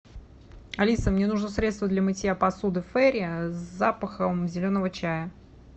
алиса мне нужно средство для мытья посуды фейри с запахом зеленого чая